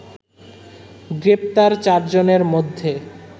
গ্রেপ্তার চারজনের মধ্যে